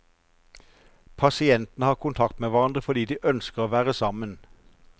Pasientene har kontakt med hverandre fordi de ønsker å være sammen.